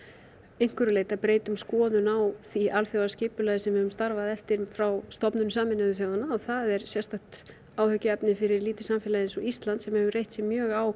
einhverju leyti að breyta um skoðun á því alþjóðaskipulagi sem við höfum starfað eftir frá stofnun Sameinuðu þjóðanna það er sérstakt áhyggjuefni fyrir lítið samfélag eins og Ísland sem hefur reitt sig mjög á